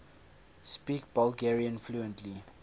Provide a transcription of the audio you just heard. speak bulgarian fluently